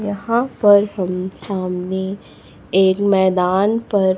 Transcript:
यहां पर हम सामने एक मैदान पर--